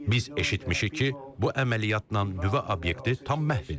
Biz eşitmişik ki, bu əməliyyatla nüvə obyekti tam məhv edilib.